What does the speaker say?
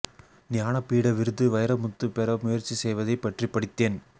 ஞான பீட விருது வைரமுத்து பெற முயற்சி செய்வதை பற்றி படித்தேன்